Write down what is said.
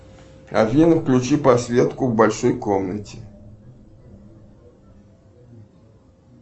афина включи подсветку в большой комнате